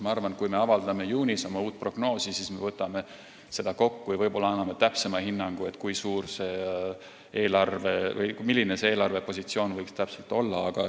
Ma arvan, et kui me avaldame juunis oma uue prognoosi, siis me võtame selle kõik kokku ja anname täpsema hinnangu, milline see eelarvepositsioon võiks täpselt olla.